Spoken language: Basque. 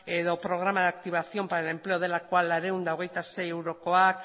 edo programa de activación para el empleo delakoa laurehun eta hogeita sei eurokoak